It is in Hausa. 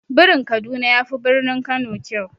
Birin kaduna yafi birnin kano kyau.